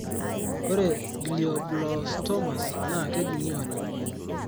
ore glioblastomas naa kejung'I oleng